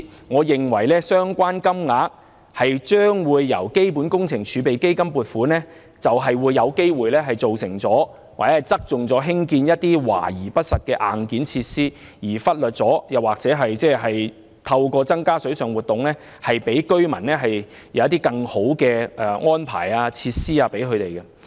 我認為，相關金額由基本工程儲備基金撥款，便有機會側重興建華而不實的硬件設施，而忽略透過增加水上活動，為居民提供更好的安排及設施。